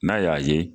N'a y'a ye